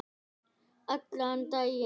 Allan daginn.